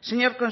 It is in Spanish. señor